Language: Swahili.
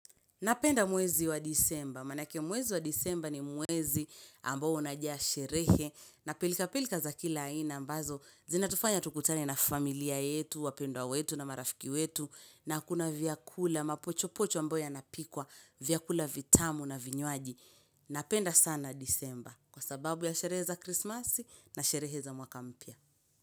Napenda mwezi wa disemba, manake mwezi wa disemba ni mwezi ambao unajaa sherehe na pilka pilka za kila aina ambazo zina tufanya tukutane na familia yetu, wapendwa wetu na marafiki wetu na kuna vyakula, mapochopocho ambayo yanapikwa, vyakula vitamu na vinywaji. Napenda sana disemba kwa sababu ya sherehe za krismasi na sherehe za mwaka mpya.